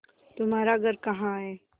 तुम्हारा घर कहाँ है